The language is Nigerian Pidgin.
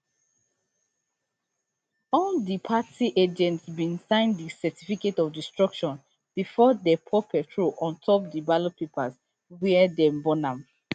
all di party agents bin sign di certificate of destruction bifor dey pour petrol on top di ballot papers wia dey burn am